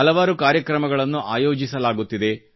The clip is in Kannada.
ಹಲವಾರು ಕಾರ್ಯಕ್ರಮಗಳನ್ನು ಆಯೋಜಿಸಲಾಗುತ್ತಿದೆ